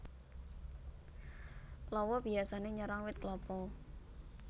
Lawa biyasané nyerang wit klapa